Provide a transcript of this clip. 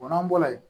O n'an bɔra yen